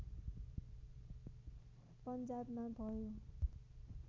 पन्जाबमा भयो